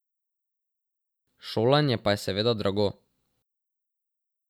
Šolanje pa je seveda drago.